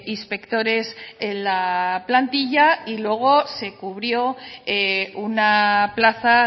inspectores en la plantilla y luego se cubrió una plaza a